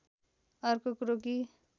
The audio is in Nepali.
अर्को कुरो कि